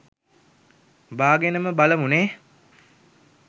බාගෙනම බලමු නේ.